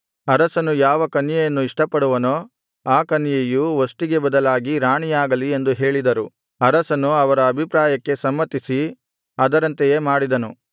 ಅರಸನು ಯಾವ ಕನ್ಯೆಯನ್ನು ಇಷ್ಟಪಡುವನೋ ಆ ಕನ್ಯೆಯು ವಷ್ಟಿಗೆ ಬದಲಾಗಿ ರಾಣಿಯಾಗಲಿ ಎಂದು ಹೇಳಿದರು ಅರಸನು ಅವರ ಅಭಿಪ್ರಾಯಕ್ಕೆ ಸಮ್ಮತಿಸಿ ಅದರಂತೆಯೇ ಮಾಡಿದನು